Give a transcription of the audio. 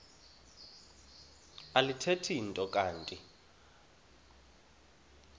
alithethi nto kanti